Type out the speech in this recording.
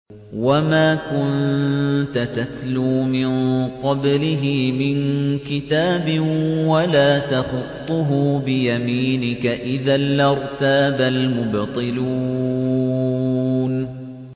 وَمَا كُنتَ تَتْلُو مِن قَبْلِهِ مِن كِتَابٍ وَلَا تَخُطُّهُ بِيَمِينِكَ ۖ إِذًا لَّارْتَابَ الْمُبْطِلُونَ